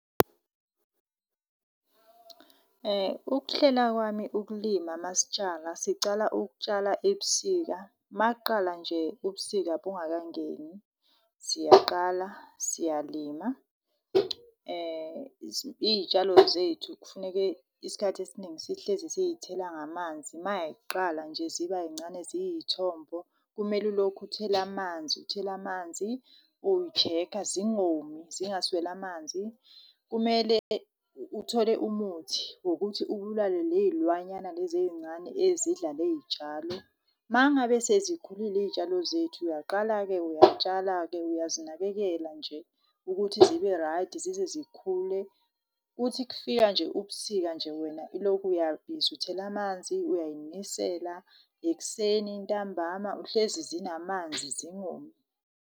Ukuhlela kwami ukulima masitshala, sicala ukutshala ebusika. Uma kuqala nje ubusika bungakangeni, siyaqala siyalima. Iy'tshalo zethu kufuneke isikhathi esiningi sihlezi siy'thela ngamanzi, mayiqala nje ziba ncane ziyithombo. Kumele ulokhe uthela amanzi, uthela amanzi, uyi-check-a, zingomi zingasweli amanzi. Kumele uthole umuthi wokuthi ubulale ley'lwanyana lezi eyincane, ezidla leyitshalo. Uma ngabe sezikhulile iyitshalo zethu, uyaqala-ke uyatshala-ke uyazinakekela nje ukuthi zibe right zize zikhule. Kuthi kufika nje ubusika nje, wena ilokhu uyabhizi uthela amanzi, uyay'nisela ekuseni ntambama uhlezi zinamanzi zingomi.